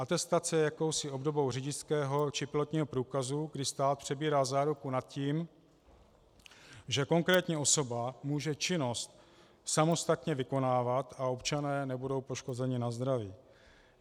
Atestace je jakousi obdobou řidičského či pilotního průkazu, kdy stát přebírá záruku nad tím, že konkrétní osoba může činnost samostatně vykonávat a občané nebudou poškozeni na zdraví.